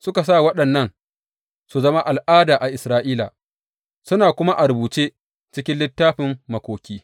Suka sa waɗannan su zama al’ada a Isra’ila, suna kuma a rubuce cikin Littafin Makoki.